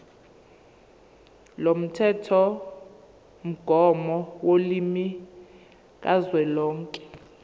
lomthethomgomo wolimi kazwelonke